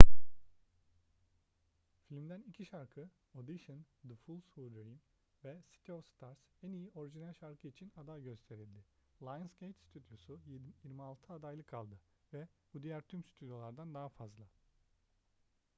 filmden iki şarkı audition the fools who dream ve city of stars en iyi orijinal şarkı için aday gösterildi. lionsgate stüdyosu 26 adaylık aldı - ve bu diğer tüm stüdyolardan daha fazla